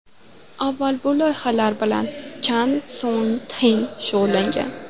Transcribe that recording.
Avval bu loyihalar bilan Chan Son Txek shug‘ullangan.